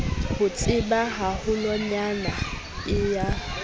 ho tseba haholwanyane e ya